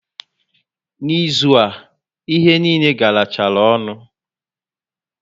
Na ịzụ a, ihe niile garachara ọnụ